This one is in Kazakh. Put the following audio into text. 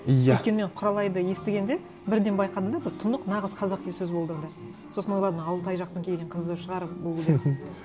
иә өйткені мен құралайды естігенде бірден байқадым да бір тұнық нағыз қазақи сөз болды онда сосын ойладым алтай жақтан келген қызы шығар бұл деп